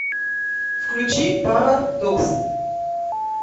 включи пара докс